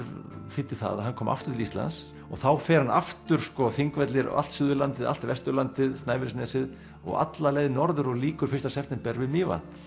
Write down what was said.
þýddi það að hann kom aftur til Íslands og þá fer hann aftur á Þingvelli allt Suðurlandið allt Vesturlandið Snæfellsnesið og alla leið norður og lýkur fyrsta september við Mývatn